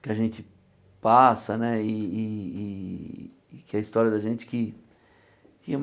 que a gente passa né e e e e que a história da gente que que.